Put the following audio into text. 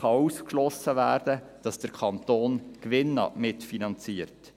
Auch kann ausgeschlossen werden, dass der Kanton Gewinne mitfinanziert.